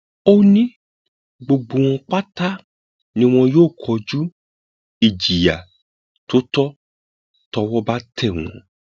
ó ní gbogbo wọn pátá ni wọn yóò kojú ìjìyà tó tọ tọwọ bá tẹ wọn